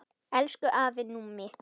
Elsku afi Númi.